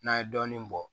N'a ye dɔɔnin bɔ